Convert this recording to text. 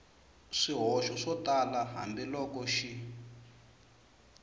swihoxo swo tala hambiloko xi